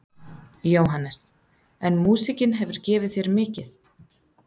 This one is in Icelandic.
Jóhannes: En músíkin hefur gefið þér mikið?